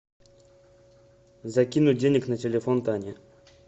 закинуть денег на телефон тане